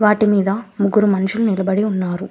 వాటి మీద ముగ్గురు మనుషులు నిలబడి ఉన్నారు.